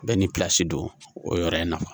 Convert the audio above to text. Bɛɛ ni don o yɔrɔ in na